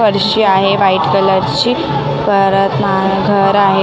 फरशी आहे white colour ची परत मा घर आहे.